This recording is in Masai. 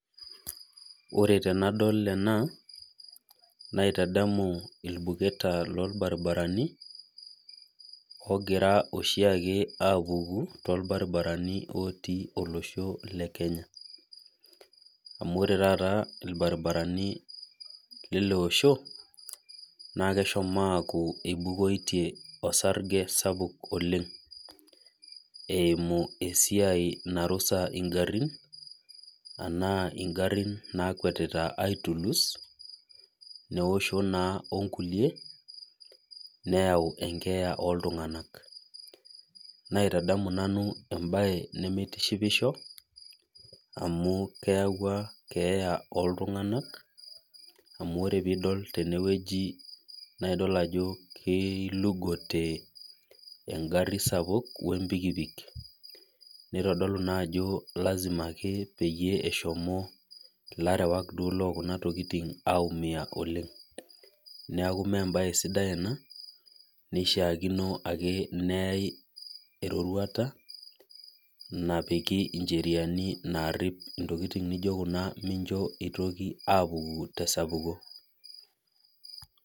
Ore tenadol ena naitadamu irbuketa lorbaribarani ogira oshiake apuku torbaribarani etii olosho le kenya amu irbaribarani lina oshobnesjomo aaku inukoitoe osarge oleng eimu esiai ngarin anaa ngarin naakwetita aitulus neosho onkulie neyau enkeeya oltunganak naitadamu embae nimitishipisho amu keyawua keeya oltunganak amubore pidol tenewueji na kilugote engari sapuk oltukutuk nitodolu naa ako lasima peshomo larewak aimui oleng neaku mbae sidai ena nishaakino neyae eroruata napiki ncheriani naripi ntokitin nijo kuna pemitoki apuku.